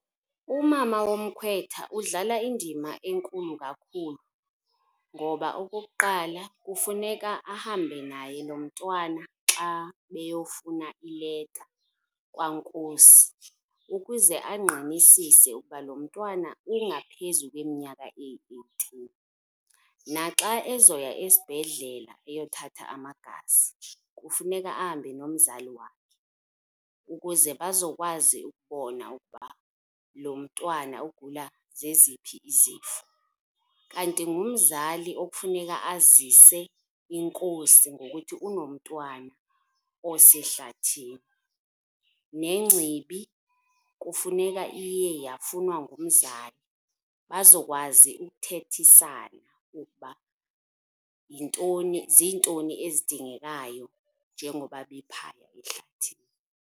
Umama womkhwetha udlala indima enkulu kakhulu ngoba okokuqala, kufuneka ahambe naye nomntwana xa beyofuna ileta kwaNkosi ukuze angqinisise ukuba lo mntwana ungaphezu kweminyaka eyi-eighteen. Naxa ezoya esibhedlela eyothatha amagazi, kufuneka ahambe nomzali wakhe ukuze bazokwazi ukubona ukuba lo mntwana ugula zeziphi izifo. Kanti ngumzali okufuneka azise inkosi ngokuthi unomntwana osehlathini. Nengcibi kufuneka iye yafunwa ngumzali, bazokwazi ukuthethisana ukuba yintoni, ziintoni ezidingekayo njengoba bephaya ehlathini.